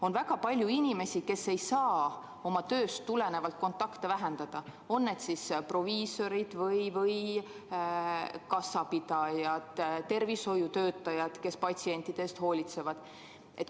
On väga palju inimesi, kes ei saa oma tööst tulenevalt kontakte vähendada, on need siis proviisorid või kassapidajad või tervishoiutöötajad, kes patsientide eest hoolitsevad.